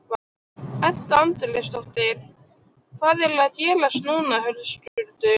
Edda Andrésdóttir: Hvað er að gerast núna Höskuldur?